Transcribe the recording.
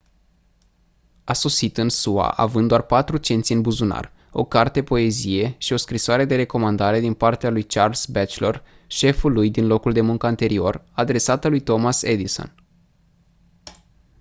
a sosit în sua având doar 4 cenți în buzunar o carte poezie și o scrisoare de recomandare din partea lui charles batchelor șeful lui din locul de muncă anterior adresată lui thomas edison